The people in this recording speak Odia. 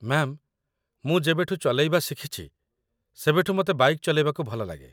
ମ୍ୟାମ୍, ମୁଁ ଯେବେଠୁ ଚଲେଇବା ଶିଖିଛି ସେବେଠୁ ମତେ ବାଇକ୍‌ ଚଲେଇବାକୁ ଭଲଲାଗେ ।